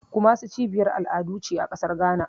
Kumasi cibiyar al'adu ce a ƙasar Ghana.